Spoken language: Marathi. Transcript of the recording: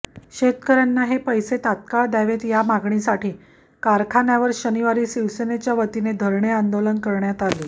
शेतकऱ्यांना हे पैसे तात्काळ द्यावेत या मागणीसाठी कारखान्यावर शनिवारी शिवसेनेच्या वतीने धरणे आंदोलन करण्यात आले